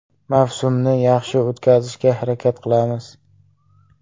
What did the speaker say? Mavsumni yaxshi o‘tkazishga harakat qilamiz.